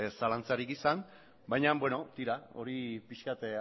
zalantzarik izan baina bueno tira hori pixkat